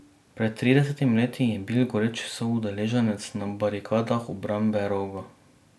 Pred tridesetimi leti bi bil goreč soudeleženec na barikadah obrambe Roga.